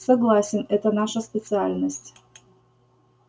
согласен это наша специальность